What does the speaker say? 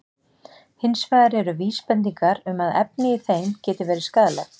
Hins vegar eru vísbendingar um að efni í þeim geti verið skaðleg.